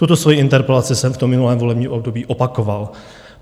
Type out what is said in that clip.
Tuto svoji interpelaci jsem v tom minulém volebním období opakoval.